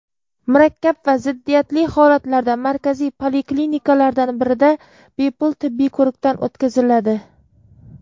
murakkab va ziddiyatli holatlarda markaziy poliklinikalardan birida bepul tibbiy ko‘rikdan o‘tkaziladi.